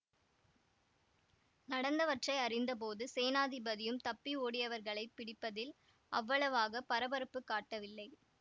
நடந்தவற்றை அறிந்தபோது சேனாதிபதியும் தப்பி ஓடியவர்களைப் பிடிப்பதில் அவ்வளவாக பரபரப்புக் காட்டவில்லை